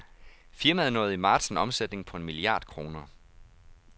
Firmaet nåede i marts en omsætning på en milliard kroner.